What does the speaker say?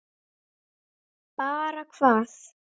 Bara hvað?